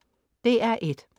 DR1: